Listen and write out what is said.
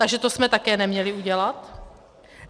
Takže to jsme také neměli udělat?